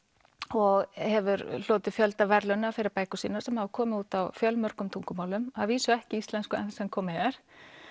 og hefur hlotið fjölda verðlauna fyrir bækur sínar sem hafa komið út á fjölmörgum tungumálum að vísu ekki íslensku enn sem komið er